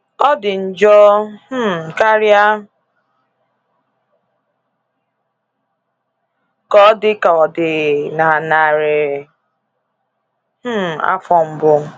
Ọ dị njọ um karịa ka ọ dị ka ọ dị na narị um afọ mbụ.